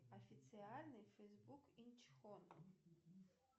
официальный фейсбук инчхон